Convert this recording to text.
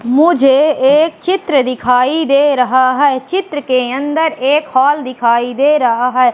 मुझे एक चित्र दिखाईं दे रहा है। चित्र के अन्दर एक हॉल दिखाई दे रहा है।